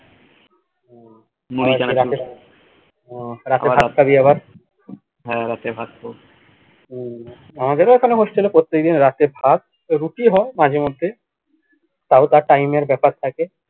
উহ রাতে ভাত খাবি আবার হুম আমাদের এখানেও hostel এ প্রত্যেকদিন রাতে ভাত ও রুটি হয় মাঝে মধ্যে time এর ব্যাপার থাকে